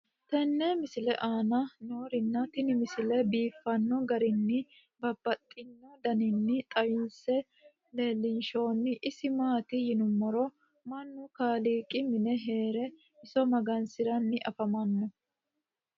tenne misile aana noorina tini misile biiffanno garinni babaxxinno daniinni xawisse leelishanori isi maati yinummoro mannu kaaliqi mine heere iso magansirranni affammanno